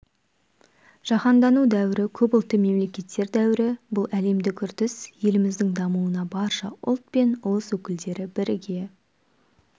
жаһандану дәуірі көпұлтты мемлекеттер дәуірі бұл әлемдік үрдіс еліміздің дамуына барша ұлт пен ұлыс өкілдері бірге